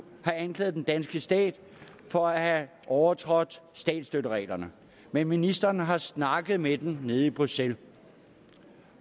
har anklaget den danske stat for at have overtrådt statsstøttereglerne men ministeren har snakket med dem nede i bruxelles